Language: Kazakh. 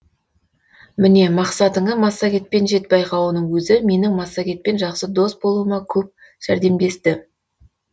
міне мақсатыңа массагетпен жет байқауының өзі менің массагетпен жақсы дос болуыма көп жәрдемдесті